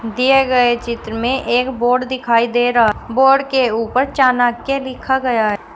दिए गए चित्र में एक बोर्ड दिखाई दे रहा बोर्ड के ऊपर चाणक्य लिखा गया है।